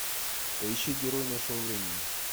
поищи герой нашего времени